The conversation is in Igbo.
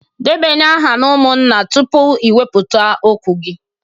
Debanye aha umunna tupu i weputa okwu gi